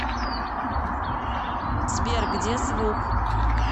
сбер где звук